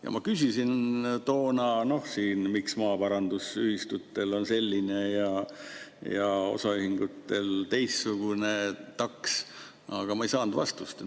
Ja ma küsisin toona siin, miks maaparandusühistutel on selline ja osaühingutel teistsugune taks, aga ma ei saanud vastust.